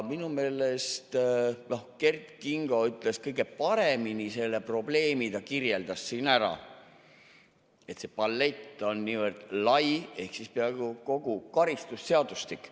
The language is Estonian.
Minu meelest Kert Kingo ütles kõige paremini, kirjeldas selle probleemi siin ära, et see palett on niivõrd lai ehk siis peaaegu kogu karistusseadustik.